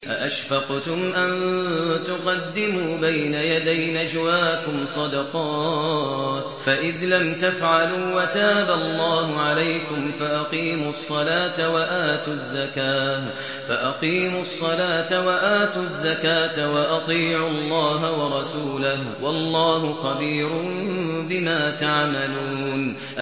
أَأَشْفَقْتُمْ أَن تُقَدِّمُوا بَيْنَ يَدَيْ نَجْوَاكُمْ صَدَقَاتٍ ۚ فَإِذْ لَمْ تَفْعَلُوا وَتَابَ اللَّهُ عَلَيْكُمْ فَأَقِيمُوا الصَّلَاةَ وَآتُوا الزَّكَاةَ وَأَطِيعُوا اللَّهَ وَرَسُولَهُ ۚ وَاللَّهُ خَبِيرٌ بِمَا تَعْمَلُونَ